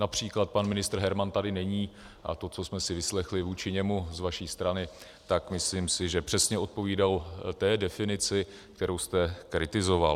Například pan ministr Herman tady není, a to, co jsme si vyslechli vůči němu z vaší strany, tak myslím si, že přesně odpovídalo té definici, kterou jste kritizoval.